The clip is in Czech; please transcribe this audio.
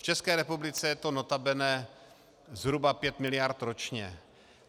V České republice je to notabene zhruba pět miliard ročně.